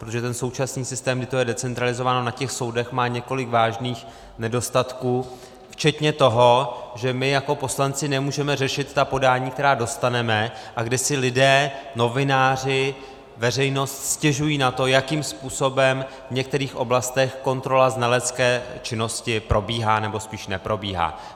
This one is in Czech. Protože ten současný systém, kdy je to decentralizováno na těch soudech, má několik vážných nedostatků, včetně toho, že my jako poslanci nemůžeme řešit ta podání, která dostaneme, a kdy si lidé, novináři, veřejnost, stěžují na to, jakým způsobem v některých oblastech kontrola znalecké činnosti probíhá, nebo spíš neprobíhá.